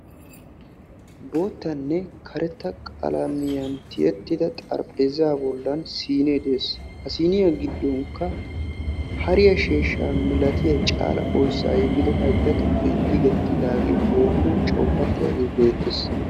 Boottanne karetta qalamiyaan tiyettida xarpheezaa bolan siinee de'ees. ha siiniya gidonkka hariyaa sheeshshaa milatiya caala oyssa yegido haytta tukkee hoomuwa coppatiyagee beetees.